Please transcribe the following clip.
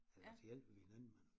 Ellers hjælper vi hinanden men